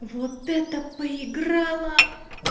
вот это поиграла